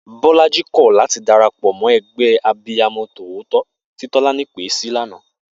Bó̩la̩jí kò̩ láti darapò̩ mó̩ e̩gbé̩ Abiyamo̩ tòótó tí Tó̩lání pèé sí lánàá